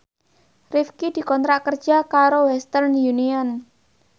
Rifqi dikontrak kerja karo Western Union